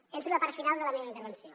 entro a la part final de la meva intervenció